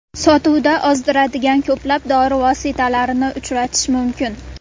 Sotuvda ozdiradigan ko‘plab dori vositalarini uchratish mumkin.